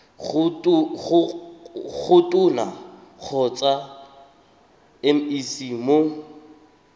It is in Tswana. go tona kgotsa mec mo